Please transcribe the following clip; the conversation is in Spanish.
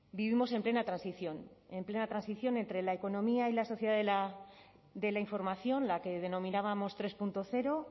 vivimos en plena transición en plena transición entre la economía y la sociedad de la información la que denominábamos tres punto cero